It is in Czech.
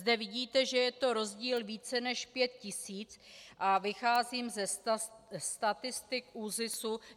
Zde vidíte, že je to rozdíl více než pět tisíc, a vycházím ze statistik ÚZIS.